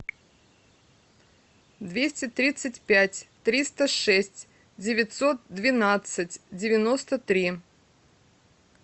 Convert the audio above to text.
двести тридцать пять триста шесть девятьсот двенадцать девяносто три